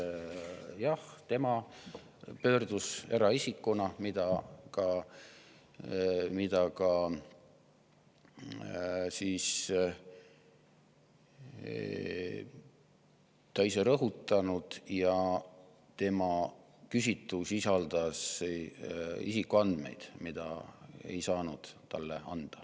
Jah, tema pöördus eraisikuna, mida ta on ka ise rõhutanud, ja tema küsitu sisaldas isikuandmeid, mida ei saanud talle anda.